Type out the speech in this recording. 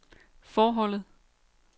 forholdet